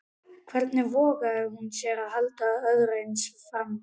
Hvernig vogaði hún sér að halda öðru eins fram?